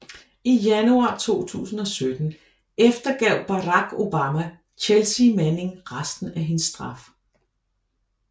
I januar 2017 eftergav Barack Obama Chealsea Manning resten af hendes straf